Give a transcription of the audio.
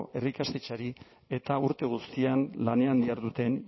herri ikastetxeari eta urte guztian lanean diharduten